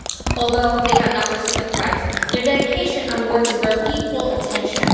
Although they have not received the Prize, their dedication and work deserve equal attention.